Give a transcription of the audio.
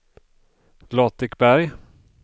Latikberg